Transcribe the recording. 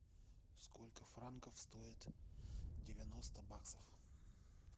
сколько франков стоит девяносто баксов